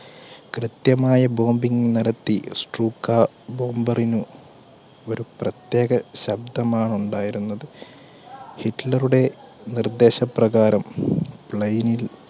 കൃത്യമായ bombing നടത്തി. stuka bomber ന് ഒരു പ്രത്യേക ശബ്ദമാണ് ഉണ്ടായിരുന്നത്. ഹിറ്റ്ലറുടെ നിർദ്ദേശപ്രകാരം